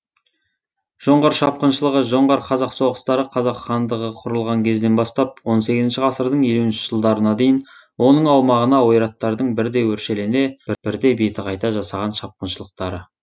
жоңғар шапқыншылығы жоңғар қазақ соғыстары қазақ хандығы құрылған кезден бастап он сегізінші ғасырдың елуінші жылдарына дейін оның аумағына ойраттардың бірде өршелене бірде беті қайта жасаған шапқыншылықтары